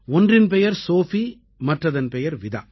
ஒன்றின் பெயர் சோஃபி மற்றதன் பெயர் விதா